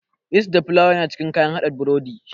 Yist da filawa yana cikin kayan haɗa burodi.